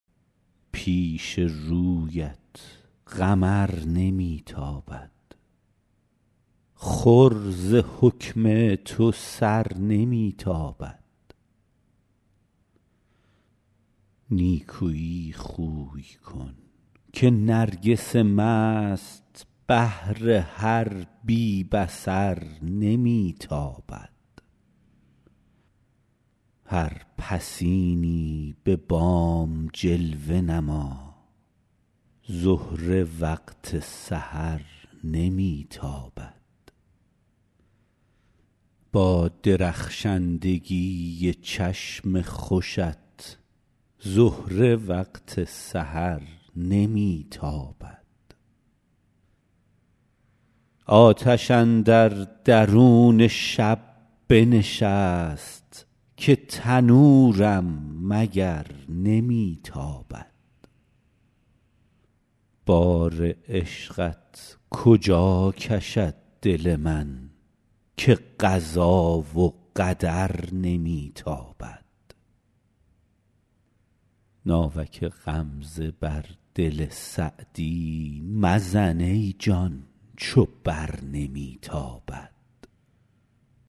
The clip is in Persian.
پیش رویت قمر نمی تابد خور ز حکم تو سر نمی تابد نیکویی خوی کن که نرگس مست بر تو با کین و شر نمی تابد دم غنیمت بدان زمان بشناس زهره وقت سحر نمی تابد آتش اندر درون شب بنشست که تنورم مگر نمی تابد بار عشقت کجا کشد دل من که قضا و قدر نمی تابد ناوک غمزه بر دل سعدی مزن ای جان چو بر نمی تابد